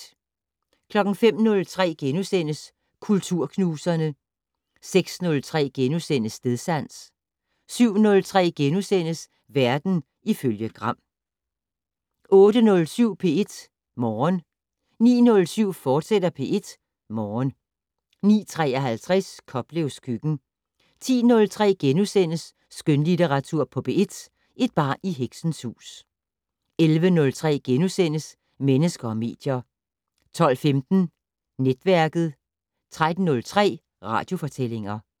05:03: Kulturknuserne * 06:03: Stedsans * 07:03: Verden ifølge Gram * 08:07: P1 Morgen 09:07: P1 Morgen, fortsat 09:53: Koplevs køkken 10:03: Skønlitteratur på P1: Et barn i heksens hus * 11:03: Mennesker og medier * 12:15: Netværket 13:03: Radiofortællinger